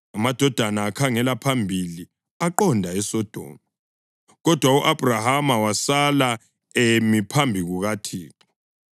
Amadoda akhangela phambili aqonda eSodoma, kodwa u-Abhrahama wasala emi phambi kukaThixo.